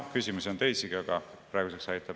Küsimusi on teisigi, aga praeguseks aitab.